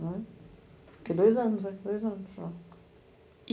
né. Fiquei dois anos, né, dois anos lá.